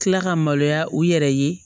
Kila ka maloya u yɛrɛ ye